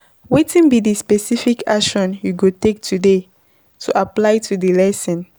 Wetin be di specific action you go take today to apply di lesson?